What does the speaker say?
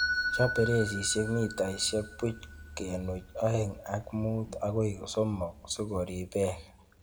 Chob beresisiek mitaisiekbuch kenuch oengek ak mut agoi somok sikorib beek.